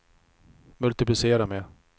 multiplicera med